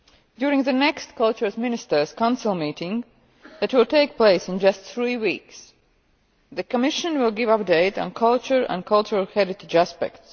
During the next Culture Ministers' Council meeting that will take place in just three weeks, the Commission will give an update on culture and cultural heritage aspects.